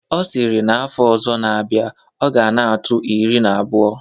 Ọ sịrị na afọ ọzọ na-abịa, ọ ga na-atụ iri na abụọ.